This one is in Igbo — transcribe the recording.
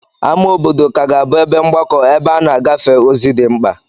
Ámá obodo ka ga-abụ ebe mgbakọ̀ ebe a na-agafe ozi dị mkpa.